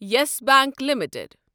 یس Bank limited